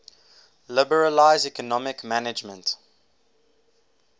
liberalize economic management